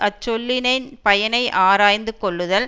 அச் சொல்லின் பயனை ஆராய்ந்து கொள்ளுதல்